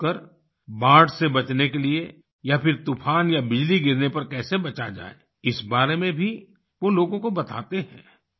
खासकर बाढ़ से बचने के लिए या फिर तूफ़ान या बिजली गिरने पर कैसे बचा जाए इस बारे में भी वो लोगों को बताते हैं